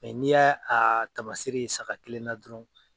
n'i y'a a taamasere ye saga kelen na dɔrɔn.